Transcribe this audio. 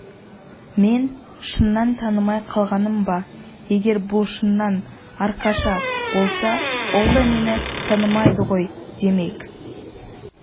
мен шыннан танымай қалғаным ба егер бұл шыннан аркаша болса ол да мені танымады ғой демек